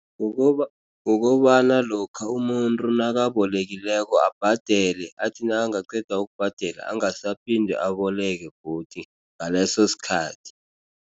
Kukobana lokha umuntu nakabolekileko abhadele athi nakangaqeda ukubhadela angasaphinde aboleke godu ngaleso sikhathi.